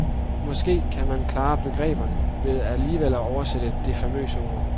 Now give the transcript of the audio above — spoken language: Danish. Måske kan man klare begreberne ved alligevel at oversætte det famøse ord.